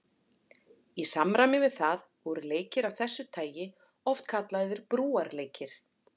Í samræmi við það voru leikir af þessu tagi oft kallaðir brúarleikir.